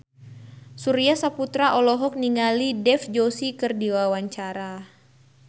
Surya Saputra olohok ningali Dev Joshi keur diwawancara